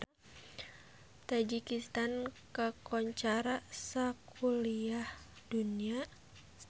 Tajikistan kakoncara sakuliah dunya